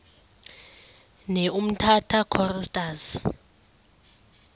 ne umtata choristers